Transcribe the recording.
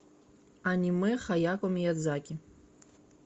аниме хаяо миядзаки